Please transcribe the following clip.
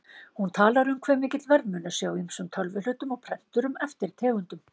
Hún talar um hve mikill verðmunur sé á ýmsum tölvuhlutum og prenturum eftir tegundum.